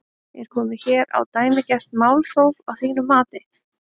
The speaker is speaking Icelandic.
Er komið hér á dæmigert málþóf að þínu mati?